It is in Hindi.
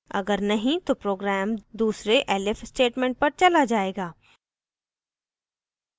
अगर नहीं तो program दूसरे elif statement पर चला जायेगा